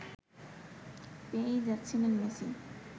পেয়েই যাচ্ছিলেন মেসি